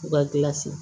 U ka gilan se